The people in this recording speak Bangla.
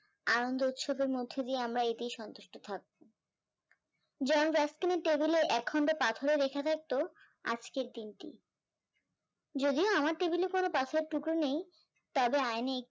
আনন্দ উৎসবের মধ্যে দিয়ে আমরা এটাতেই সন্তুষ্ট থাকবো table এ এক খন্ড পাথরে লেখা থাকতো আজকের দিনটি, যদিও আমার table এ কোনো পাথরের টুকরো নেই তবে আয়নায় একটি